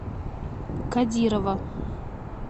кадирова